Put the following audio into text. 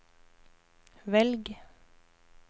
velg